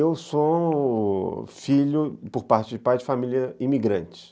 Eu sou filho, por parte de pai de família, imigrante.